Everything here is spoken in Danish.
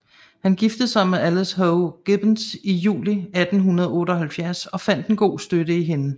Han giftede sig med Alice Howe Gibbens i juli 1878 og fandt en god støtte i hende